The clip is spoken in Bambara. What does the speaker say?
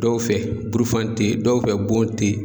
Dɔw fɛ burufani tɛ yen, dɔw fɛ bɔn tɛ yen.